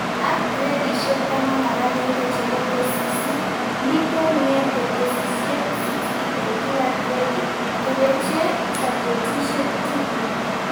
Ak gradishek taman ak agenge chebo tesisyit, mito niete tesisyshet 60 eng kila gradit, kebechee subjetishek tugul